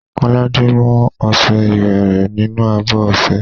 Kọ́ládé mú ọṣẹ iwẹ̀ rẹ̀ nínú abọ́ ọṣẹ.